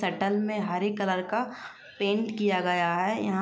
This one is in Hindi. सटल में हरे कलर का पेंट किया गया है। यहाँ --